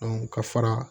ka fara